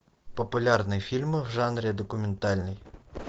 популярные фильмы в жанре документальный